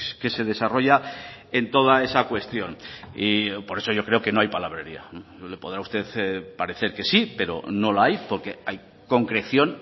que se desarrolla en toda esa cuestión y por eso yo creo que no hay palabrería le podrá a usted parecer que sí pero no la hay porque hay concreción